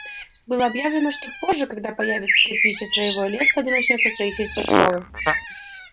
было объявлено что позже когда появятся кирпич и строевой лес в саду начнётся строительство школы